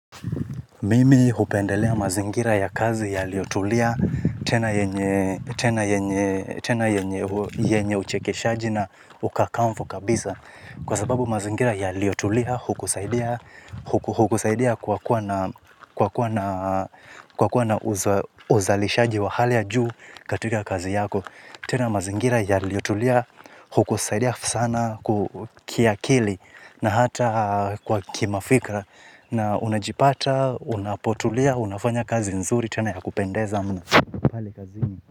Mimi hupendelea mazingira ya kazi yaliyotulia tena yenye tena yenye uchekeshaji na ukakamvu kabisa. Kwa sababu mazingira yaliotulia hukusaidia kwa kuwa na uzalishaji wa hali ya juu katika kazi yako. Tena mazingira yaliotulia hukusaidia sana kiakili na hata kwa kimafikra. Na unajipata, unapotulia, unafanya kazi nzuri tena ya kupendeza mno.